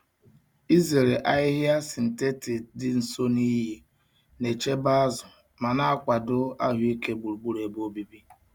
Izere ahịhịa sịntetịt dị nso na iyi na-echebe azụ ma na-akwado ahụike gburugburu ebe obibi.